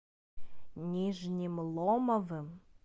нижним ломовым